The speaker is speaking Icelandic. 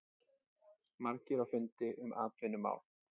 Margir á fundi um atvinnumál